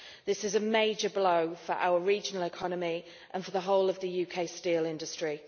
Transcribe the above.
This is a major blow for our regional economy and for the whole of the UK steel industry.